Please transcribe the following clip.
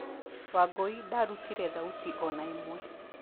Wangũi ndarutire thauti ona ĩmwe.